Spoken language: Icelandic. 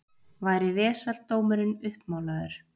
Væri vesaldómurinn uppmálaður.